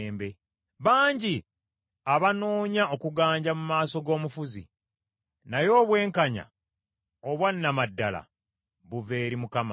Bangi abanoonya okuganja mu maaso g’omufuzi, naye obwenkanya obwa nnama ddala buva eri Mukama .